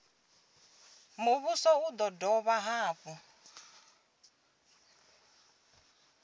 muvhuso u do dovha hafhu